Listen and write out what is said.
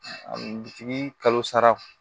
A dutigi kalo sara